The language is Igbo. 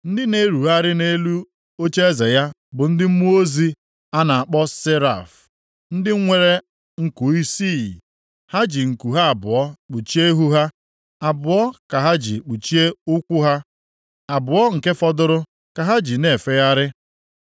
Ndị na-erugharị nʼelu ocheeze ya bụ ndị mmụọ ozi a na-akpọ seraf, ndị nwere nku isii. Ha ji nku ha abụọ kpuchie ihu ha; abụọ ka ha ji kpuchie ụkwụ ha, abụọ nke fọdụrụ ka ha ji na-efegharị.